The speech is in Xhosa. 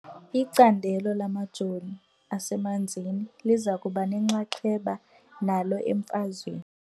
Icandelo lamajoni asemanzini liza kuba nenxaxheba nalo emfazweni .